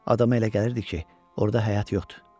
Adama elə gəlirdi ki, orda həyat yoxdur.